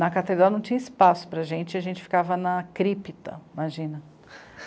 Na catedral não tinha espaço para a gente, aí a gente ficava na crípta, imagina.